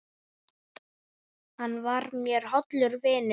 Hann var mér hollur vinur.